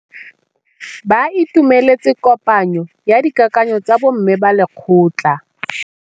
Ba itumeletse kôpanyo ya dikakanyô tsa bo mme ba lekgotla.